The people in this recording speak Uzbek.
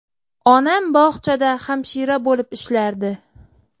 Onam bog‘chada hamshira bo‘lib ishlardi.